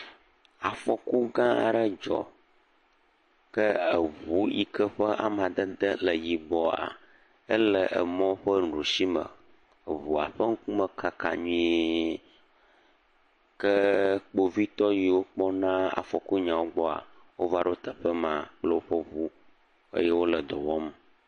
Afɔku gã aɖe dzɔ ke ŋu si ƒe amadede le emɔ ƒe nuɖusi me, eŋua ƒe ŋkume kaka nyui, ke kpovitɔ siwo kpɔna afɔku nyawo gbɔa va ɖo teƒe ma eye wole dɔ wɔm.